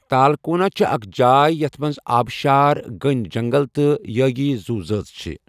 تالکونا چھِ اکھ جاے یتھ منٛز آبٕشار، گٔنۍ جنگل تہٕ یٲگی زُو ذٲژ چھِ۔